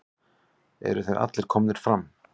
Eru þeir allir komnir fram?